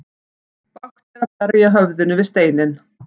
Bágt er að berja höfðinu við steinninn.